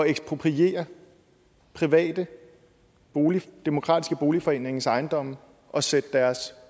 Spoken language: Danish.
ekspropriere private demokratiske boligforeningers ejendomme og sætte deres